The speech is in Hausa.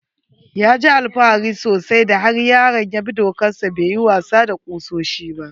Ya ji alfahari sosai da har yaron ya bi dokar sa bai yi wasa da kusoshin ba.